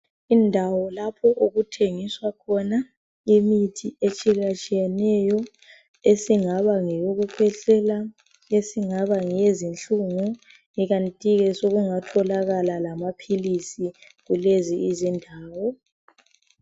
Indawo lapho okuthengiswa khona imithi etshiyatshiyeneyo esingaba ngeyokukhwehlela, esingaba ngeyezinhlungu ikanti ke sokungatholakala lamaphilisi kulezi izindawo.